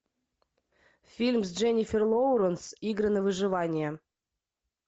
фильм с дженифер лоуренс игры на выживание